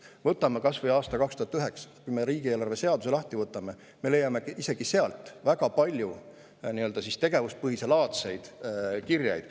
Võtame kas või aasta 2009 – kui me riigieelarve seaduse lahti võtame, siis me leiame isegi sealt väga palju tegevuspõhiselaadseid kirjeid.